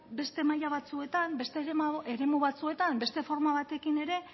beste maila batzuetan beste eremu batzuetan beste forma batekin ere